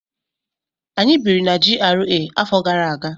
Anyị biri na GRA afọ gara aga.